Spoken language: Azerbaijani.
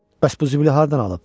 Bəs bu zibili hardan alıb?